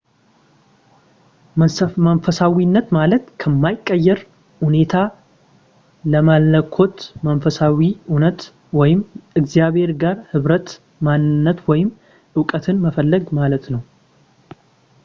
መንፈሳዊነት ማለት ከማይቀየር እውነታ ከመለኮት መንፈሳዊ እውነት ወይም እግዚአብሔር ጋር ኅብረት ማንነት ወይም እውቀትን መፈለግ ማለት ነው